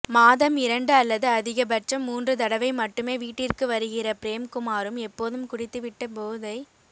மாதம் இரண்டு அல்லது அதிக பட்சம் மூன்று தடவை மட்டுமே வீட்டிற்கு வருகிற பிரேம்குமாரும் எப்போதும் குடித்துவிட்டு போதை